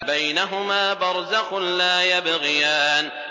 بَيْنَهُمَا بَرْزَخٌ لَّا يَبْغِيَانِ